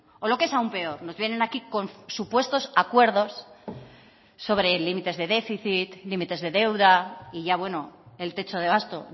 o lo que es aún peor nos vienen aquí con supuestos acuerdos sobre límites de déficit límites de deuda y ya bueno el techo de gasto